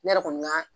Ne yɛrɛ kɔni ka